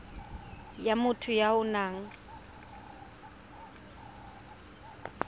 ya motho ya o nang